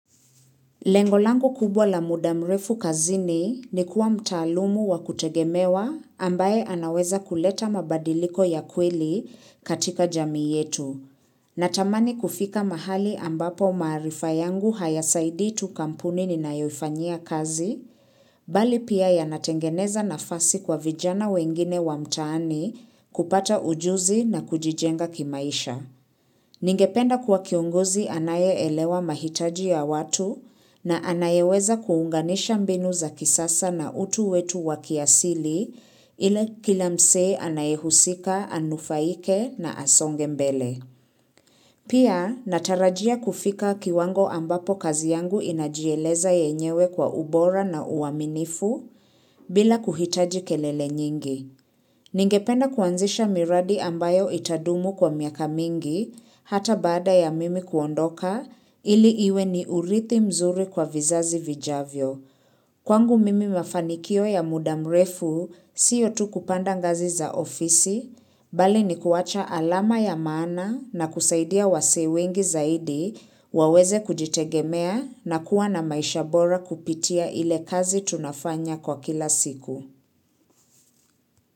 Lengo langu kubwa la muda mrefu kazini ni kuwa mtaalumu wa kutegemewa ambaye anaweza kuleta mabadiliko ya kweli katika jamii yetu. Natamani kufika mahali ambapo maarifa yangu hayasaidi tu kampuni ninayoifanyia kazi, bali pia yanatengeneza nafasi kwa vijana wengine wa mtaani kupata ujuzi na kujijenga kimaisha. Ningependa kuwa kiongozi anayeelewa mahitaji ya watu na anayeweza kuunganisha mbinu za kisasa na utu wetu wa kiasili ile kila msee anaye husika, anufaike na asonge mbele. Pia natarajia kufika kiwango ambapo kazi yangu inajieleza yenyewe kwa ubora na uaminifu bila kuhitaji kelele nyingi. Ningependa kuanzisha miradi ambayo itadumu kwa miaka mingi, hata baada ya mimi kuondoka, ili iwe ni urithi mzuri kwa vizazi vijavyo. Kwangu mimi mafanikio ya muda mrefu siyo tu kupanda ngazi za ofisi, bali ni kuwacha alama ya maana na kusaidia wasee wengi zaidi, waweze kujitegemea na kuwa na maisha bora kupitia ile kazi tunafanya kwa kila siku.